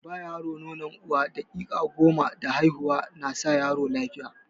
Ba yaro nonon uwa daƙiƙa goma da haihuwa na sa yaro yayi lafiya.